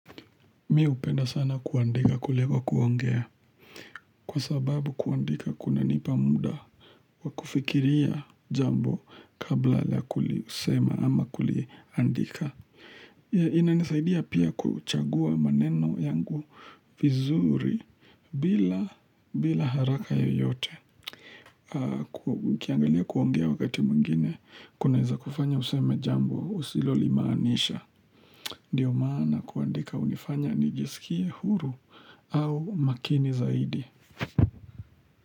Mimi hupenda sana kuandika kuliko kuongea, kwa sababu kuandika kunanipa muda Wakufikiria jambo kabla la kulisema ama kuliandika inanisaidia pia kuchagua maneno yangu vizuri bila haraka yoyote Ukiangalia kuongea wakati mwingine kunaweza kufanya usema jambo usilo limaanisha Ndiyo maana kuandika hunifanya nijisikie huru au makini zaidi.